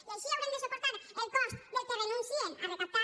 i així haurem de suportar el cost del que renuncien a recaptar